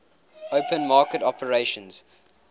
open market operations